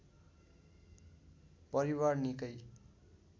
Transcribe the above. परिवार निकै